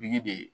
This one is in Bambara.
de